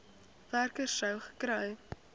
werker sou gekry